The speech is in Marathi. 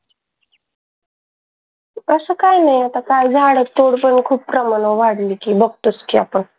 कसं काय होईल आता काय झाडच तोडण्याच खूप प्रमाण वाढल कि बघतोच कि आपण.